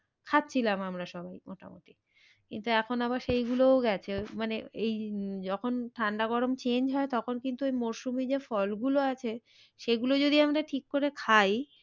খাচ্ছিলাম আমরা সবাই মোটামুটি কিন্তু এখন আবার সেই গুলোও গেছে মানে এই উম যখন ঠান্ডা গরম change হয় তখন কিন্তু এই মরশুমে যে ফল গুলো আছে সেগুলো যদি আমরা ঠিক করে খাই।